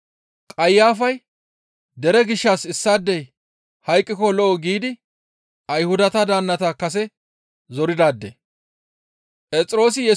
Qayafay, «Dere gishshas issaadey hayqqiko lo7o» giidi Ayhudata daannata kase zoridaade.